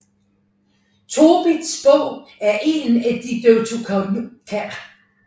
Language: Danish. Tobits Bog er en af de Deuterokanoniske Bøger